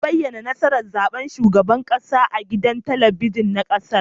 An bayyana nasarar zaben shugaban kasa a gidan talabijin na kasar